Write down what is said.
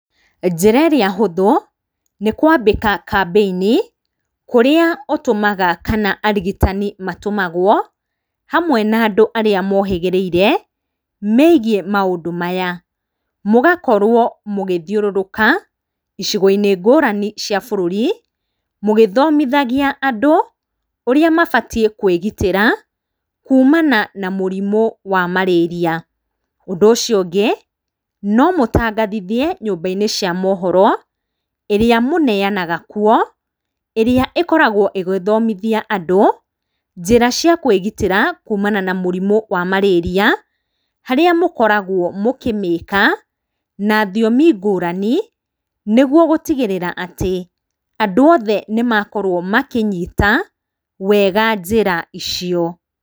Njĩra ĩrĩa hũthũ nĩ kwambĩka kambĩini kũrĩa ũtũmaga kana, arigitani matũmagwo hamwe na andũ arĩa mohĩgĩrĩire megiĩ maũndũ maya. Mũgakorwo mũgĩthiũrũruka icigo-inĩ ngũrani cia bũrũri, mũgĩthomithagia andũ ũrĩa mabatiĩ kwĩgitĩra kuumana na mũrimũ wa marĩria. Ũndũ ũcio ũngĩ, no mũtangathithie nyũmba-inĩ cia mohoro ĩrĩa mũneanaga kuo, ĩrĩa ĩkoragwo ĩgĩthomithia andũ njĩra cia kwĩgitĩra kuumana na mũrimũ wa marĩria, harĩa mũkoragwo mũkĩmĩika na thiomi ngũrani, nĩguo gũtigĩrĩra atĩ andũ othe nĩ makorwo makĩnyita wega njĩra icio.